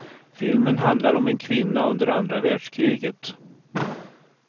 Filmen handlar om en kvinna under andra världskriget.